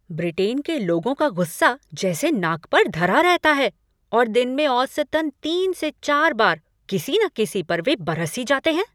Britain के लोगों का गुस्सा जैसे नाक पर धरा रहता है और दिन में औसतन तीन से चार बार किसी न किसी पर वे बरस ही जाते हैं।